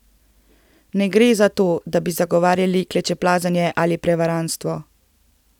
Ne gre za to, da bi zagovarjali klečeplazenje ali prevarantstvo.